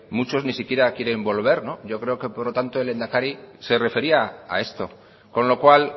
muchos ni siquiera quieren volver yo creo que por lo tanto el lehendakari se refería a esto con lo cual